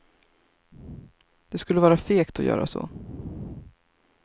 Det skulle vara fegt att göra så.